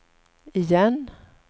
igen